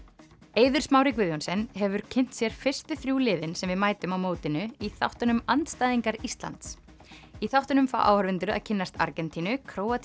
Eiður Smári Guðjohnsen hefur kynnt sér fyrstu þrjú liðin sem við mætum á mótinu í þáttunum andstæðingar Íslands í þáttunum fá áhorfendur að kynnast Argentínu Króatíu